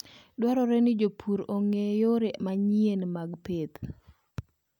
Dwarore ni jopur ong'e yore manyien mag pith.